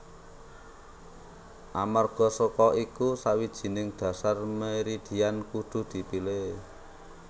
Amarga saka iku sawijining dhasar meridian kudu dipilih